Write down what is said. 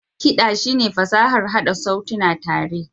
Kiɗa shine fasahar haɗa sautuna tare.